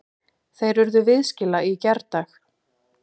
Þeir urðu viðskila í gærdag.